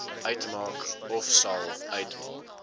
uitmaak ofsal uitmaak